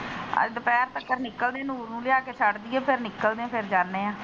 ਅੱਜ ਦੁਪਿਹਰ ਤੱਕ ਨਿਕਲਦੀ ਨੂਰ ਨੂੰ ਲਿਆ ਕੇ ਛੱਡ ਦਿੰਦੇ ਫਿਰ ਨਿਕਲਦੇ ਫਿਰ ਜਾਂਦੇ ਆ।